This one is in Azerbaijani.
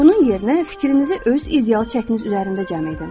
Bunun yerinə fikrinizi öz ideal çəkiniz üzərində cəm edin.